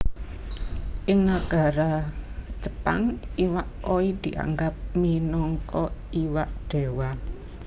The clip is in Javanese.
Ing nagara Jepang iwak koi dianggep minangka iwak Déwa